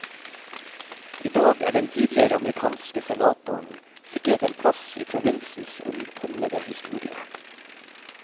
I dag er den tidligere amerikanske senatoren sikret en plass i provinsens omtumlede historie.